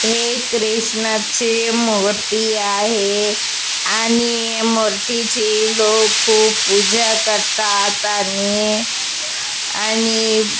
हे क्रिष्णा चे मूर्ती आहे आणि मूर्तीची लोक खूप पूजा करतात आणि आणि --